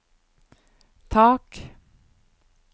tak